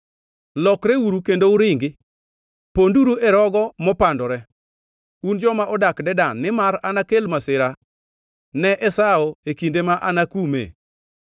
Lokreuru kendo uringi, ponduru e rogo mopandore, un joma odak Dedan, nimar anakel masira ne Esau e kinde ma anakume.